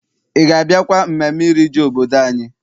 Ị ga- abịakwa mmemme iri ji obodo anyị?